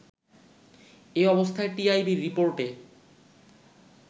এ অবস্থায় টিআইবির রিপোর্টে